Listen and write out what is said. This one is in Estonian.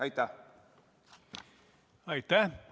Aitäh!